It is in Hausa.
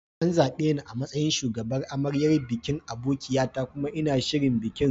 An zaɓe ni a matsayin shugabar amaryar bikin abokia ta kuma ina shirin bikin.